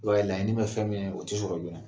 O dɔw ye laɲini ye bɛ fɛn min ye, o tɛ sɔrɔ joona.